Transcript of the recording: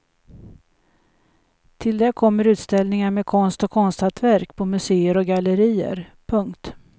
Till det kommer utställningar med konst och konsthantverk på museer och gallerier. punkt